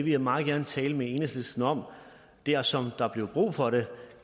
vil jeg meget gerne tale med enhedslisten om dersom der bliver brug for det